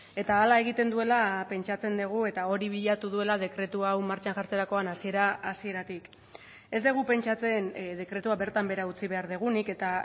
eta hala egiten duela pentsatzen dugu eta hori bilatu duela dekretu hau martxan jartzerakoan hasiera hasieratik ez dugu pentsatzen dekretua bertan behera utzi behar dugunik eta